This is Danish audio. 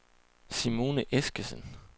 Simone Eskesen